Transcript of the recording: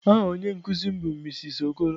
Aha onye nkuzi m bu mrs Okoro.